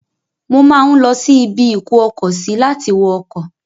Mo máa ń lọsí ibi-ìkó-ọkọ-sí láti wọ ọkọ̀.